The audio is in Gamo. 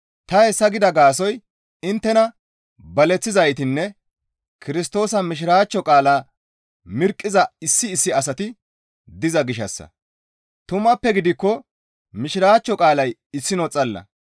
Ta hessa gida gaasoykka inttena baleththizaytinne Kirstoosa Mishiraachcho qaalaa mirqqiza issi issi asati diza gishshassa; tumappe giikko Mishiraachcho qaalay issino xalla.